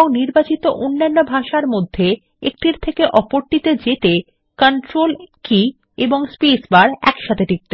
ও নির্বাচিত অন্যান্য ভাষার মধ্যে একটির থেকে আরেকটিতে যেতে সাহায্য করে